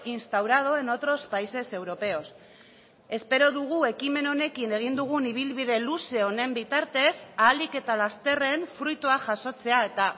instaurado en otros países europeos espero dugu ekimen honekin egin dugun ibilbide luze honen bitartez ahalik eta lasterren fruitua jasotzea eta